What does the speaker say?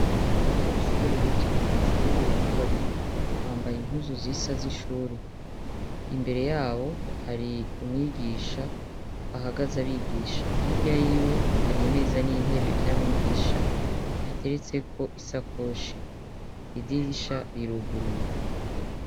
Abanyeshure bicaye mw'ishure bariko bariga bambaye inkuzu z'isa z'ishure imbere yabo hari umwigisha ahagaze abigisha hirya yiwe hari imeza n'intebe vya mwigisha biteretseko isa koshi idirisha biruguruye.